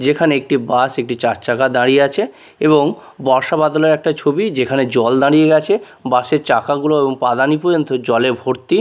যেখানে একটি বাস একটি চারচাকা দাঁড়িয়ে আছে এবং বর্ষা বাদলের একটা ছবি যেখানে জল দাঁড়িয়ে আছে বাস -এর চাকাগুলো এবং পাদানী পর্যন্ত জলে ভর্তি।